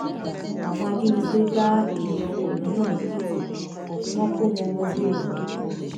àwọn ajínigbé da èrò ọkọ lọnà lèkìtì wọn kó wọn wọgbó lọ